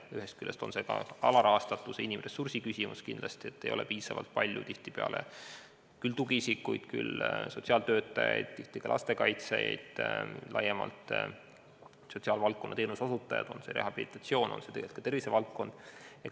Ühest küljest on see alarahastatuse ja inimressursi küsimus: tihtipeale ei ole piisavalt palju tugiisikuid, sotsiaaltöötajaid, ka lastekaitsjaid, laiemalt sotsiaalvaldkonna teenuse osutajaid, puudutagu see rehabilitatsiooni või muud tervisevaldkonda.